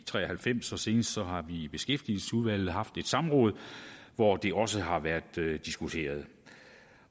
tre og halvfems og senest har vi i beskæftigelsesudvalget haft et samråd hvor det også har været diskuteret